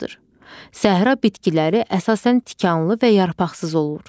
Səhra bitkiləri əsasən tikanlı və yarpaqsız olur.